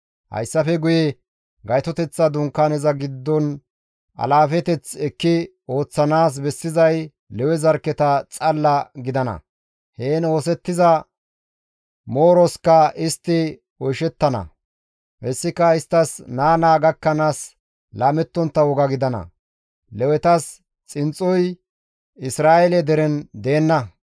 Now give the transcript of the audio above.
Hayssafe guye Gaytoteththa Dunkaaneza giddon alaafeteth ekki ooththanaas bessizay Lewe zarkketa xalla gidana; heen oosettiza mooroska istti oyshettana; hessika isttas naa naa gakkanaas laamettontta woga gidana; Lewetas xinxxoy Isra7eele deren deenna.